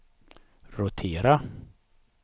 rotera